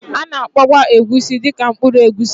A na-akpọkwa Egusi dị ka mkpụrụ egusi